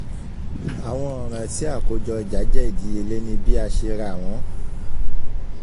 nítorí náà kò lè lè jẹ́ idanimọ tí gbígba owó-wíwọlé àyàfi ní ààyè ní títà